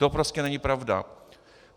To prostě není pravda.